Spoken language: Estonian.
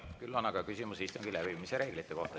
Küll on aga küsimus istungi läbiviimise reeglite kohta.